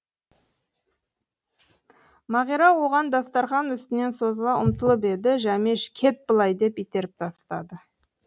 мағира оған дастарқан үстінен созыла ұмтылып еді жәмеш кет былай деп итеріп тастады